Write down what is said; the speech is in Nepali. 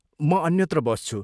म अन्यत्र बस्छु।